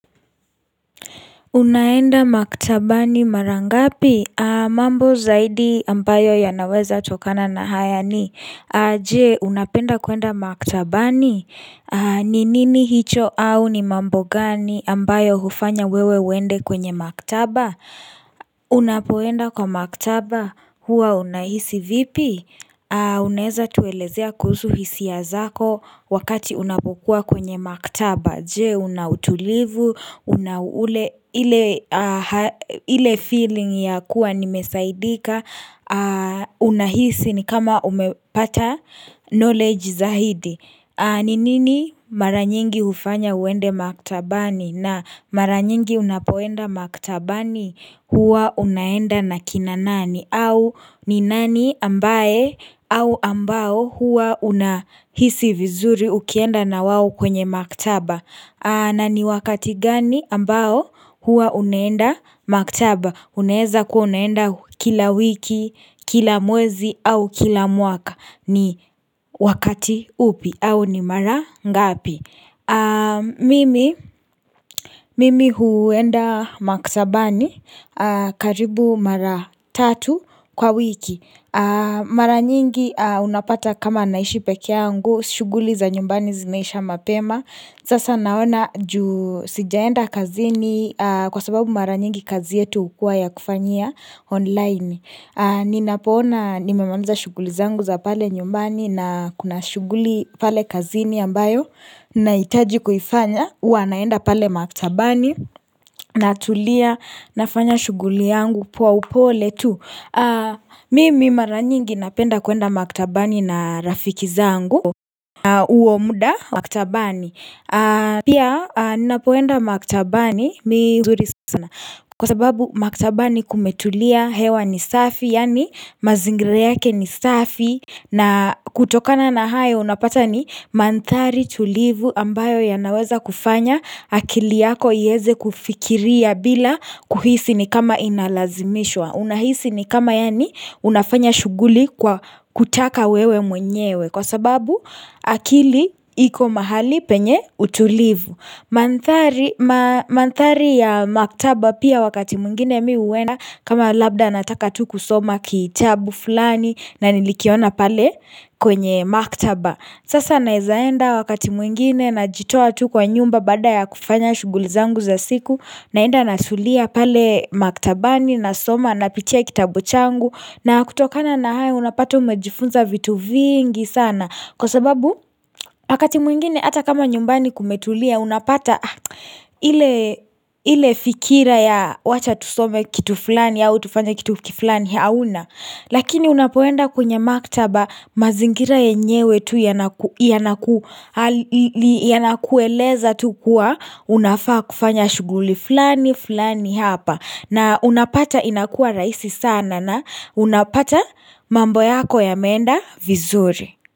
Unaenda maktabani marangapi? Mambo zaidi ambayo yanaweza tukona na haya ni. Jee, unapenda kuenda maktabani? Ninini hicho au ni mambo gani ambayo hufanya wewe uende kwenye maktaba? Unapoenda kwa maktaba? Huwa unahisi vipi? Unaeza tuelezea kuhusu hisia zako wakati unapokuwa kwenye maktaba. Je unautulivu, una ule ile ile feeling ya kuwa nimesaidika Unahisi ni kama umepata knowledge zaidi Ninini maranyingi hufanya uende maktabani na maranyingi unapoenda maktabani huwa unaenda na kina nani au ni nani ambae au ambao huwa unahisi vizuri ukienda na wao kwenye maktaba na ni wakati gani ambao huwa unaenda maktaba Unaeza kuwa unaenda kila wiki, kila mwezi au kila mwaka ni wakati upi au ni mara ngapi mi Mimi huenda maktabani karibu mara tatu kwa wiki Mara nyingi unapata kama naishi peke yangu shuguli za nyumbani zinaisha mapema Sasa naona juu sijaenda kazini kwa sababu mara nyingi kazi yetu ukua ya kufanyia online ni napoona nimemaliza shuguli zangu za pale nyumbani na kuna shuguli pale kazini ambayo Nahitaji kuifanya, ua naenda pale maktabani na tulia na fanya shuguli yangu pwa upole tu Mimi mara nyingi napenda kuenda maktabani na rafiki zangu na uomuda maktabani Pia nina poenda maktabani mihuzuri sana Kwa sababu maktabani kumetulia hewa ni safi Yani mazingra yake ni safi na kutokana na hayo unapata ni mandhari tulivu ambayo ya naweza kufanya akili yako ieze kufikiria bila kuhisi ni kama inalazimishwa Unahisi ni kama yani unafanya shuguli kwa kutaka wewe mwenyewe Kwa sababu akili iko mahali penye utulivu mandhari ma Mandhari ya maktaba pia wakati mwingine mi uena kama labda nataka tuku soma kitabu fulani na nilikiona pale kwenye maktaba Sasa naezaenda wakati mwingine Najitoa tu kwa nyumba baada ya kufanya shugulizangu za siku naenda natulia pale maktabani na soma na pitia kitabu changu na kutokana na hayo unapata umejifunza vitu vingi sana Kwa sababu akati mwingine hata kama nyumbani kumetulia unapata ile ile fikira ya wacha tusome kitu fulani au tufanye kitu fulani hauna Lakini unapoenda kwenye maktaba mazingira yenyewe tu yanaku yanakuhali yanakueleza tu kuwa unafaa kufanya shuguli fulani fulani hapa na unapata inakua raisi sana na unapata mambo yako yameenda vizuri.